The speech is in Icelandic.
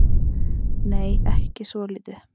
Nei, ekki svolítið.